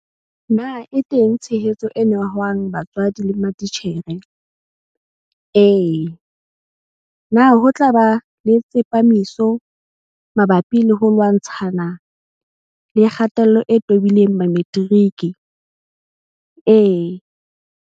Na e teng tshehetso e nehwang batswadi le matitjhere? Ee. Na ho tla ba le tsepamiso mabapi le ho lwantshana le kgatello e tobileng Mametiriki? Ee.